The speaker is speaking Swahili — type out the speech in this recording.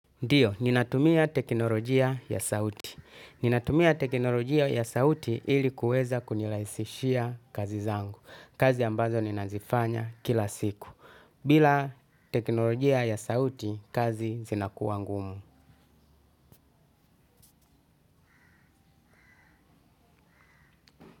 Ndiyo, ninatumia teknolojia ya sauti. Ninatumia teknolojia ya sauti ili kuweza kunirahisishia kazi zangu. Kazi ambazo ninazifanya kila siku. Bila teknolojia ya sauti kazi zinakua ngumu.